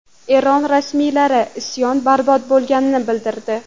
Eron rasmiylari isyon barbod bo‘lganini bildirdi.